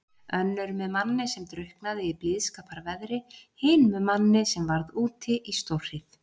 Önnur með manni sem drukknaði í blíðskaparveðri, hin með manni sem varð úti í stórhríð.